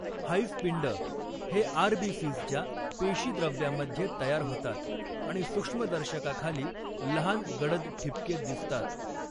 हाईजपिंड हे आर.बी.सीजच्या पेशीद्रव्यामध्ये तयार होतात आणि सूक्ष्मदर्शकाखाली लहान गडद ठिपके दिसतात.